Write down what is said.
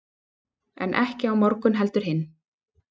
en ekki á morgun heldur hinn